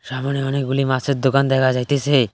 সামোনে অনেকগুলি মাছের দোকান দেখা যাইতেসে।